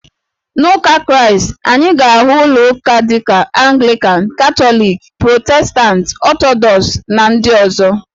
N'Ụka Kraịst, anyị ga-ahụ ụlọ uka dị ka Anglịkan, Katọlikị, Protestantị, Ọtọdọks, na ndị ọzọ